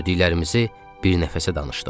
Gördüklərimizi bir nəfəsə danışdıq.